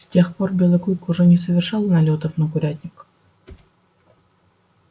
с тех пор белый клык уже не совершал налётов на курятник